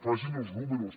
facin els números